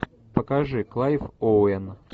покажи клайв оуэн